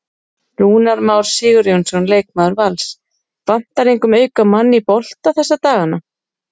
Rúnar Már Sigurjónsson, leikmaður Vals: Vantar engum auka mann í bolta þessa dagana?